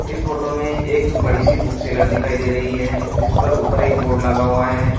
इस फोटो में एक बड़ी सी बुक सेलर दिखाई दे रही हैं जिसपर ऊपर एक बोर्ड लगा हुआ हैं।